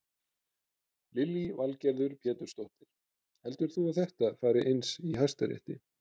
Lillý Valgerður Pétursdóttir: Heldur þú að þetta fari eins í Hæstarétti?